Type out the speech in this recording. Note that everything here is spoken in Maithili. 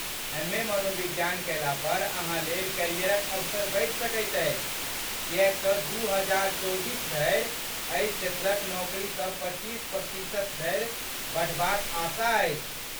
एम.ए. मनोविज्ञान कयला पर अहाँ लेल करियरक अवसर बढ़ि सकैत अछि किएक तँ दू हजार चौबीस धरि एहि क्षेत्रक नौकरीसभ पच्चीस प्रतिशत धरि बढ़बाक आशा अछि।